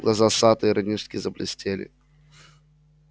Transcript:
глаза сатта иронически заблестели